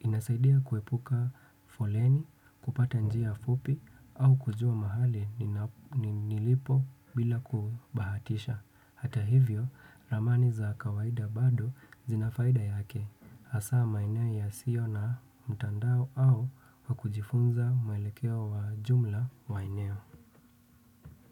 Inasaidia kuepuka foleni, kupata njia fupi au kujua mahali nilipo bila kubahatisha. Hata hivyo, ramani za kawaida bado zinafaida yake. Hasa maeneo ya sio na mtandao au wakujifunza mwelekeo wa jumla maeneo.